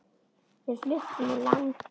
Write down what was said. Við fluttum úr landi.